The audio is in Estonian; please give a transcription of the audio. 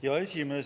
Hea esimees!